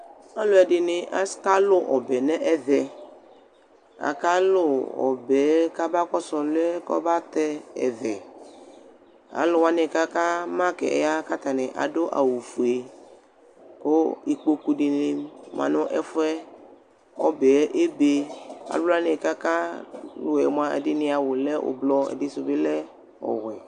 ɔlʊɛdɩnɩ akalʊ ɔbɛ nʊ ɛmɛ akalʊ ɔbɛyɛ kabakosʊ ɔlʊɛ kɔbatɛ ɛvɛ alʊwanɩ kaka dʊ ʊlɔ nɩvlɩ wanɩli ya katanɩ adʊ awʊ fue kʊ ikpoku dɩnɩ ma nʊ ɛfue ɔbɛyɛ ebe alʊwanɩ kakalʊɛ mʊa ɛdɩnɩ awʊ lɛ ublɔ̀ ɛdɩsʊbɩlɛ ɔwɛ